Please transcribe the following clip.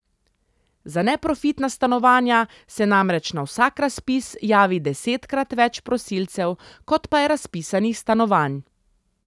Za neprofitna stanovanja se namreč na vsak razpis javi desetkrat več prosilcev, kot pa je razpisanih stanovanj.